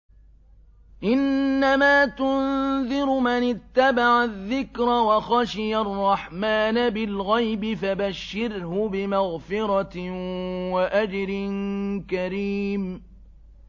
إِنَّمَا تُنذِرُ مَنِ اتَّبَعَ الذِّكْرَ وَخَشِيَ الرَّحْمَٰنَ بِالْغَيْبِ ۖ فَبَشِّرْهُ بِمَغْفِرَةٍ وَأَجْرٍ كَرِيمٍ